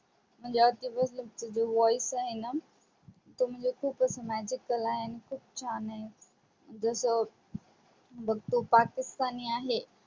म्हणजे आतिफ अस्लम चे जे voice आहे ना ते म्हणजेच खूपच magical आहे आणि खूप छान आहे जस बग तो पाकिस्तानी आहे